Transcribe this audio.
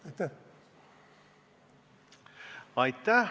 Aitäh!